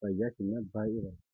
fayyaa keenyaaf baay'ee barbaachisaadha.